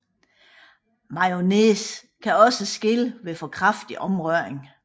Mayonnaise kan også skille ved for kraftig omrøring